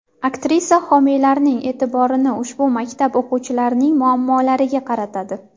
Aktrisa homiylarning e’tiborini ushbu maktab o‘quvchilarining muammolariga qaratadi.